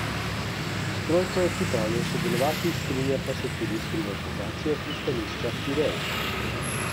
S trojko je pripravljen sodelovati, strinja se tudi s privatizacijo pristanišča Pirej.